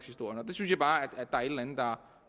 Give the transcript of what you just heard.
andet der